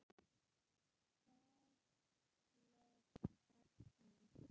Skaðleg efni.